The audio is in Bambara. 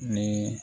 Ni